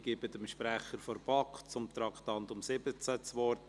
Ich gebe dem Sprecher der BaK zum Traktandum 17 das Wort.